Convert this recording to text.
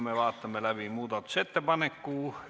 Vaatame läbi muudatusettepaneku.